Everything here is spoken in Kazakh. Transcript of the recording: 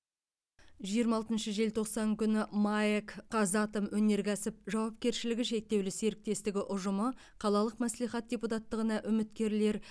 жиырма алтыншы желтоқсан күні маэк казатомөнеркәсіп жауапкершілігі шектеулі серіктестігі ұжымы қалалық мәслихат депутаттығына үміткерлер